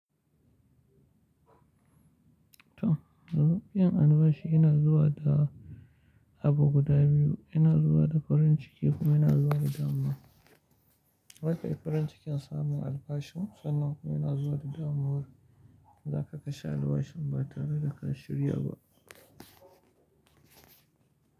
To, ruɓin albashi yana zuwa da abu guda biyu. Yana zuwa da farin ciki kuma yana zuwa da damuwa. Zakai farin cikin samun albashin, sannan kuma yana zuwa da damuwa za ka kashe albashin ba tare da ka shirya ba.